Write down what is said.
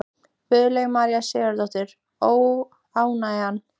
Guðlaug María Sigurðardóttir: Óánægjan?